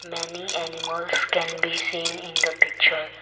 many animals can be seen in the picture.